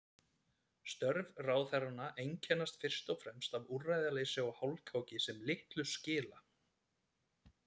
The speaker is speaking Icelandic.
Störf ráðherranna einkennast fyrst og fremst af úrræðaleysi og hálfkáki sem litlu skila.